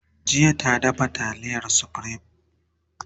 jiya ta dafa taliyar supreme